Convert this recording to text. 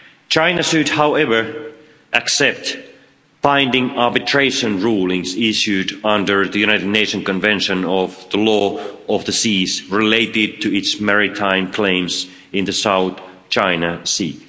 China should, however, accept binding arbitration rulings issued under the United Nations Convention of the Law of the Sea relating to its maritime claims in the South China Sea.